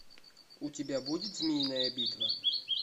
у тебя будет змеиная битва